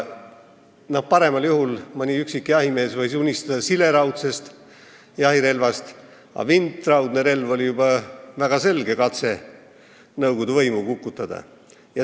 Paremal juhul võis mõni üksik jahimees unistada sileraudsest jahirelvast, vintraudne relv oli juba väga selge katse nõukogude võimu kukutada.